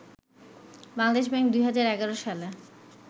Bangladesh bank ২০১১ সালে